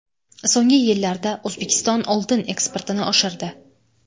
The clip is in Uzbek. So‘nggi yillarda O‘zbekiston oltin eksportini oshirdi.